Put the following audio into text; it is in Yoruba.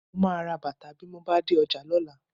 Mo máa ra bàtà bí mo bá dé ọjà lọ́la